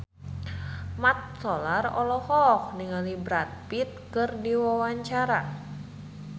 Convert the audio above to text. Mat Solar olohok ningali Brad Pitt keur diwawancara